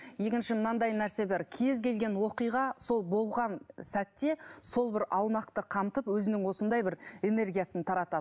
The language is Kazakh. екінші мынадай нәрсе бар кез келген оқиға сол болған сәтте сол бір аумақты қамтып өзінің осындай бір энергиясын таратады